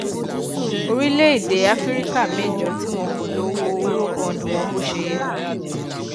orílẹèdè áfíríkà mẹjọ tí wọn kò lo owó eurobond wọn bó ṣe yẹ